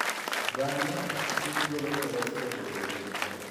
Bang'e, chuny golo kolestrol ei dendi.